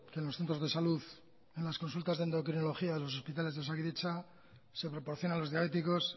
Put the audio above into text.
que en los centros de salud en las consultas de endocrinología de los hospitales de osakidetza se proporciona a los diabéticos